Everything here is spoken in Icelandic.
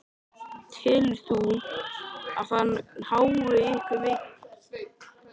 Telur þú að það hái ykkur mikið?